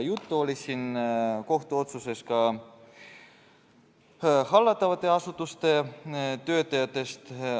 Juttu oli kohtuotsuses ka hallatavate asutuste töötajatest.